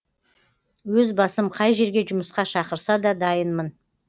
өз басым қай жерге жұмысқа шақырса да дайынмын